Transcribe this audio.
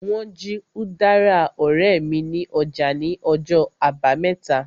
Wọ́n jí udara ọ̀rẹ́ mi ní ọjà ní ọjọ́ àbámẹ́ta